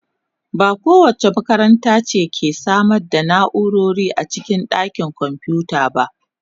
Ba kowace makaranta ce ke samar da na'urori a cikin dakin kwamfuta ba.